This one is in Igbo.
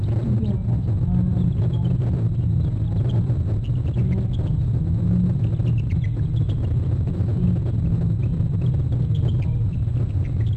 ndị ọkachamara ndụmọdụ ego nyere aka mee ka usoro mmefu ego di na nwunye kwụsịe ike n'oge nnyefere ọrụ.